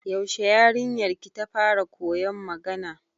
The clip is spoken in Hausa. Yaushe yarinyar ki ta fara koyan magana?